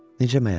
Necə məyər?